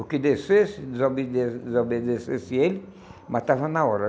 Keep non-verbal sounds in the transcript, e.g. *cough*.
O que descesse, desobe *unintelligible* desobedecesse ele, matava na hora.